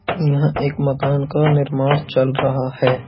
यहाँ एक मकान का निर्माण चल रहा है।